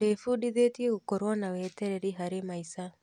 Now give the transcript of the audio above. Ndĩbundithĩtie gũkorwo na wetereri harĩ maica.